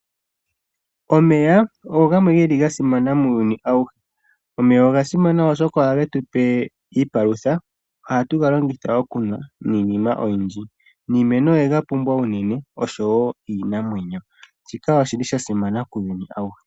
Omeya ogo gamwe geli gasimana muuyuni awuhe. Omeya oga simana oshoka ohage tupe iipalutha. Oha tuga longitha okunwa niinima oyindji niimeno oye gapumbwa unene oshowo iinamwenyo, shika oshili sha simana kuuyuni awuhe.